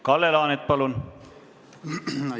Kalle Laanet, palun!